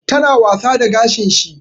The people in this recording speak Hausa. Ta na wasa da gashin shi